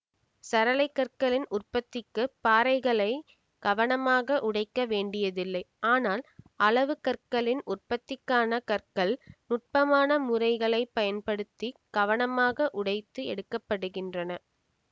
சரளை கற்களின் உற்பத்திக்குப் பாறைகளை கவனமாக உடைக்க வேண்டியதில்லை ஆனால் அளவு கற்களின் உற்பத்திக்கான கற்கள் நுட்பமான முறைகளை பயன்படுத்தி கவனமாக உடைத்து எடுக்க படுகின்றன